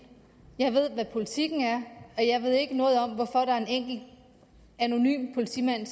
jeg ved hvad politikken er og jeg ved ikke noget om hvorfor der er en enkelt anonym politimand